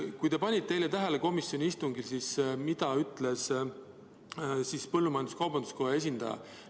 Kas te panite eile komisjoni istungil tähele, mida ütles põllumajandus-kaubanduskoja esindaja?